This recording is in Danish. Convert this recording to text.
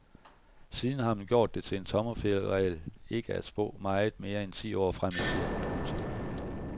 Siden har man gjort det til en tommelfingerregel ikke at spå meget mere end ti år frem i tiden. punktum